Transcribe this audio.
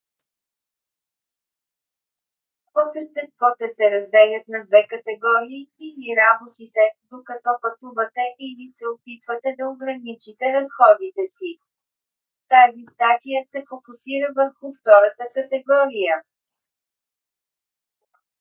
по същество те се разделят на две категории: или работите докато пътувате или се опитвате да ограничите разходите си. тази статия се фокусира върху втората категория